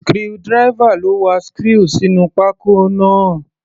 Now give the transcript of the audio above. Screwdriver ló wa screw sínú pákó náà.